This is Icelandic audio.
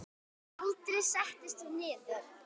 Aldrei settist hún niður.